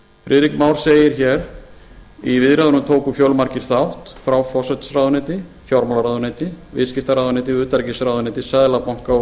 friðrik már segir hér í viðræðunum tóku fjölmargir þátt frá forsætisráðuneyti fjármálaráðuneyti viðskiptaráðuneyti og utanríkisráðuneyti seðlabanka og